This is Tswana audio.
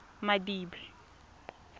madibe